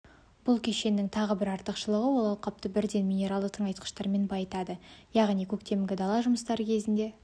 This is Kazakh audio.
бұл кешеннің тағы бір артықшылығы ол алқапты бірден минералды тыңайтқыштармен байытады яғни көктемгі дала жұмыстары кезінде